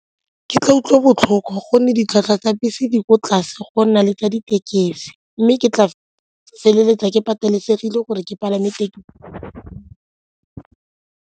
Ke tla utlwa botlhoko gonne ditlhwatlhwa tsa bese di ko tlase go nna le tsa ditekesi mme ke tla feleletsa ke patelesegile gore ke palame .